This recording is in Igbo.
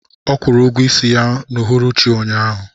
Ọ kwụrụ ụgwọ isi ya n'uhuruchi ụnyahụ